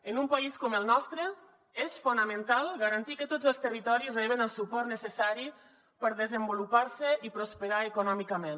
en un país com el nostre és fonamental garantir que tots els territoris reben el suport necessari per desenvolupar se i prosperar econòmicament